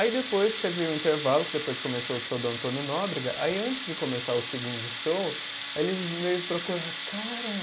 Aí depois teve o intervalo, que depois começou o show do Antônio Nóbrega, aí antes de começar o segundo show, aí ele veio procurar, cara.